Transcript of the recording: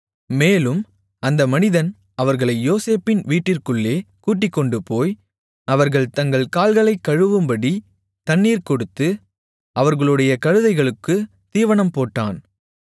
மேலும் அந்த மனிதன் அவர்களை யோசேப்பின் வீட்டிற்குள்ளே கூட்டிக்கொண்டுபோய் அவர்கள் தங்கள் கால்களைக் கழுவும்படி தண்ணீர் கொடுத்து அவர்களுடைய கழுதைகளுக்குத் தீவனம் போட்டான்